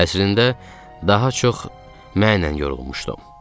Əslində daha çox mənlə yorulmuşdum.